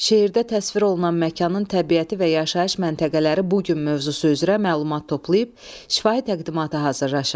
Şeirdə təsvir olunan məkanın təbiəti və yaşayış məntəqələri bu gün mövzusu üzrə məlumat toplayıb şifahi təqdimatı hazırlaşın.